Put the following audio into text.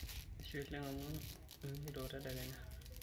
Ashe oleng' am inyieto tedekenya.